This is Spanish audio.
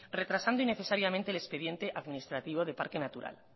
retrasando innecesariamente el expediente administrativo de parque natural